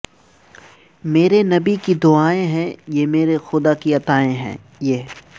مرے نبی کی دعائیں ہیں یہ مرے خدا کی عطائیں ہیں یہ